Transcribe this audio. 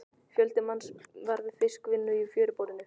Fjöldi manns var við fiskvinnu í fjöruborðinu.